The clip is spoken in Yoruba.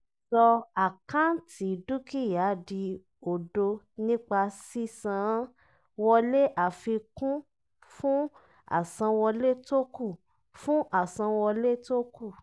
sọ àkáǹtì dúkìá di òdo nípa sísan án wọlé afikun fún àsanwọlé tókù. fún àsanwọlé tókù.